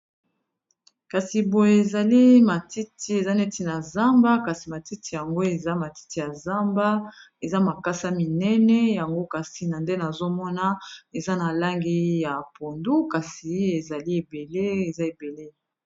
Kasi boyo ezali matiti eza neti na zamba kasi matiti yango eza matiti ya zamba eza makasa minene yango kasi na nde nazomona eza na langi ya pondu kasi ezali ebele eza ebele.